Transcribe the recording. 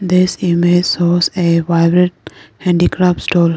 this image shows a vibrant handicraft stall.